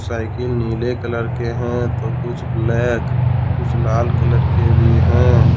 Cycle नीले colour के हैं तो कुछ ब्लैक कुछ लाल कलर के भी हैं।